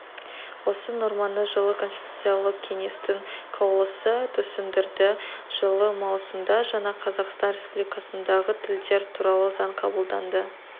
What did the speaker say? осы норманы жылы конституциялық кеңестің қаулысы түсіндірді жылы маусымда жаңа қазақстан республикасындағы тілдер туралы заң қабылданды